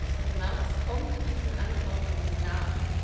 31. März kommt diesen Anforderungen nach.